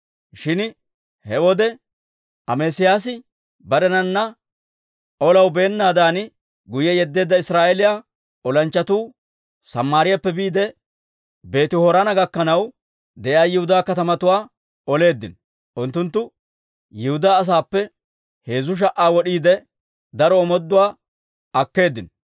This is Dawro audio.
Shin he wode Amesiyaasi barenana olaw beennaadan guyye yeddeedda Israa'eeliyaa olanchchatuu Samaariyaappe biide, Beeti-Horoona gakkanaw de'iyaa Yihudaa katamatuwaa oleeddino. Unttunttu Yihudaa asaappe heezzu sha"aa wod'iide, daro omooduwaa akkeeddino.